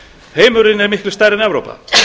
heimurinn er miklu stærri en evrópa